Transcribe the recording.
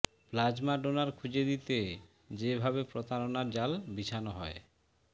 plasma donor খুঁজে দিতে যেভাবে প্রতারণার জাল বিছানো হয়